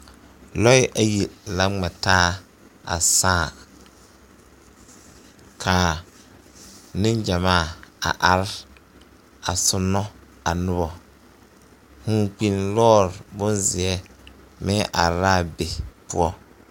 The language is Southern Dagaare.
Lɔɛ ayi la ŋmɛ taa a sãã ka nengyamaa a are a soonɔ a noba vūūkpinni lɔɔre bonzeɛ meŋ are la a be poɔ.